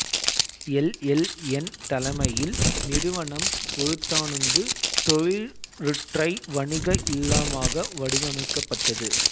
L L N தலைமையில் நிறுவனம் ஒருதானுந்து தொழிற்றுறை வணிக இல்லமாக வடிவமைக்கப்பட்டது